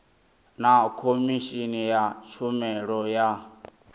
na khomishini ya tshumelo ya